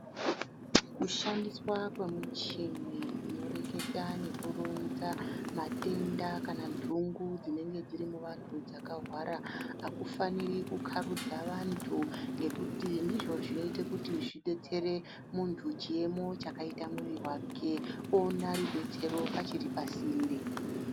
Kushandiswa kwemichini inoreketa nekuronza matenda kana ntungu dzinenge dziri muvantu dzakahwara hakufaniri kukharudza vantu ngekuti ndizvo zvinoite kuti zvidetsere muntu chiemo chakaita mwiri wake oona rubetsero achiri pasinde.